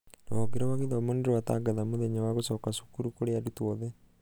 rũhonge rwa gĩthomo nĩrwatangatha mũthenya wa gũcoka cukuru kũri arutwo othe.